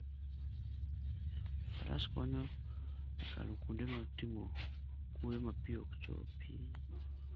Faras konyo e kalo kuonde motimo kwoyo ma pi ok chopi.